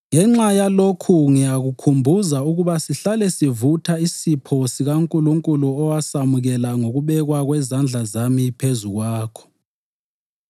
Ngenxa yalokhu ngiyakukhumbuza ukuba sihlale sivutha isipho sikaNkulunkulu owasamukela ngokubekwa kwezandla zami phezu kwakho.